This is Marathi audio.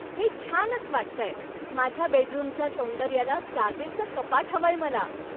हे छानच वाटतंय! माझ्या बेडरूमच्या सौंदर्याला साजेसं कपाट हवंय मला.